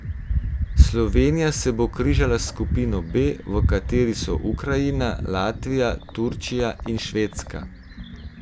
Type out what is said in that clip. Slovenija se bo križala s skupino B, v kateri so Ukrajina, Latvija, Turčija in Švedska.